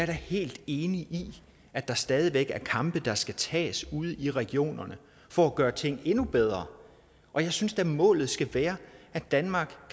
da helt enig i at der stadig væk er kampe der skal tages ude i regionerne for at gøre tingene endnu bedre og jeg synes da målet skal være at danmark